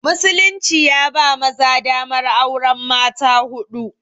Musulunci ya ba maza damar auren mata huɗu